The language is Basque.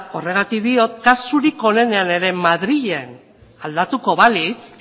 horregatik diot kasurik onenean ere madrilen aldatuko balitz